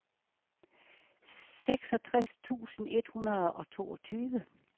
seksogtres tusind et hundrede og toogtyve